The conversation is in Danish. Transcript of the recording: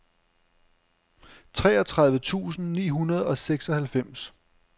treogtredive tusind ni hundrede og seksoghalvfems